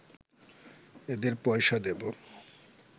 এদের পয়সা দেব